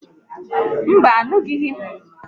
Mba, anụghi m ihe ọkwọ ụgbọ n'ekwu